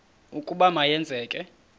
ukuba ma yenzeke